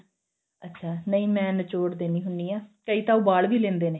ਅੱਛਾ ਨਹੀਂ ਮੈਂ ਨਿਚੋੜ ਦਿਨੀ ਹੁੰਨੀ ਆਂ ਕਈ ਤਾਂ ਉਬਾਲ ਵੀ ਲੈਂਦੇ ਨੇ